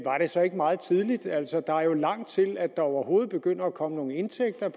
så ikke meget tidligt at altså der er jo lang tid til at der overhovedet begynder at komme nogen indtægter